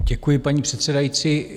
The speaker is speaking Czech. Děkuji, paní předsedající.